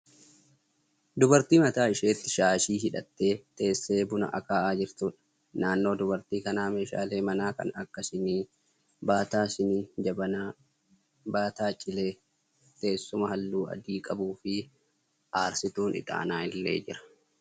Dubartii mataa isheetti shaashii hidhattee teessee buna aka'aa jirtuudha. Naannoo dubartii kanaa meeshaalee manaa kan akka sinii, baataa sinii, jabanaa, baataa cilee, teessuma halluu adii qabuu fi aarsituun ixaanaa illee jira.